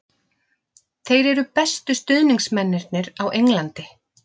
Þeir eru bestu stuðningsmennirnir á Englandi.